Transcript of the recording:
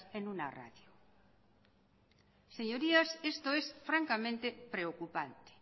en una radio señorías esto es francamente preocupante